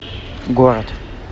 город